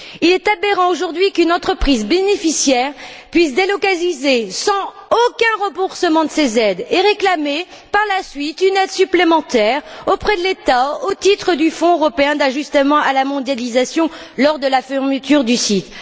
Il est aberrant, aujourd'hui, qu'une entreprise bénéficiaire puisse délocaliser sans aucun remboursement de ces aides et réclamer par la suite une aide supplémentaire auprès de l'État au titre du Fonds européen d'ajustement à la mondialisation lors de la fermeture du site.